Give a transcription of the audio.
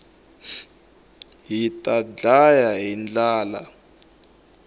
hita ndlaya hi ndlala